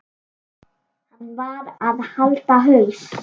Hann varð að halda haus.